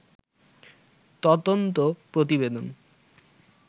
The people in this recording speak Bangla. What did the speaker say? তদন্ত প্রতিবেদন